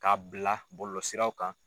K'a bila bɔlɔlɔ siraw kan.